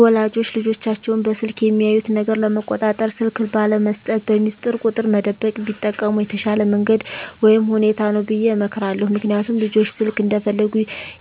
ወላጆች ልጆቻቸውን በስልክ የሚያዩት ነገር ለመቆጣጠር ስልክ ባለመስጠት፣ በሚስጥር ቁጥር መደበቅ ቢጠቀሙ የተሻለ መንገድ ወይም ሁኔታ ነው ብየ እመክራለሁ። ምክንያቱም ልጆች ስልክ እንደፈለጉ